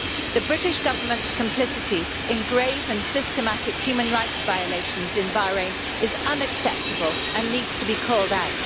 The British Government's complicity in grave and systematic human rights violations in Bahrain is unacceptable and needs to be called out.